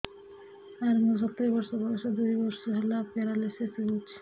ସାର ମୋର ସତୂରୀ ବର୍ଷ ବୟସ ଦୁଇ ବର୍ଷ ହେଲା ପେରାଲିଶିଶ ହେଇଚି